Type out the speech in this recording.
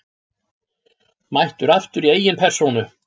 Mættur aftur í eigin persónu!